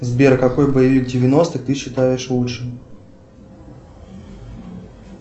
сбер какой боевик девяностых ты считаешь лучшим